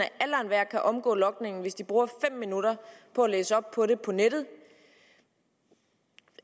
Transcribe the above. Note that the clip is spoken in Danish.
at omgå logningen hvis de bruger fem minutter på at læse op på det på nettet